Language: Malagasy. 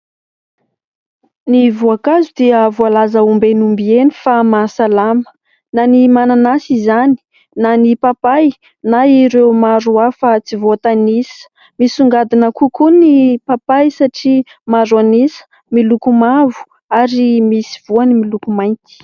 Ny voankazo dia voalaza ombieny ombieny fa mahasalama ; na ny mananasy izany, na ny papay, na ireo maro hafa tsy voatanisa ; misongadina kokoa ny papay satria maro an'isa miloko mavo ary misy voany miloko mainty.